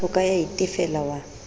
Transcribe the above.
o ka ya itefela wa